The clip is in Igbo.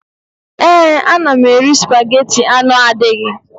Ee, ana m eri spageti anụ adịghị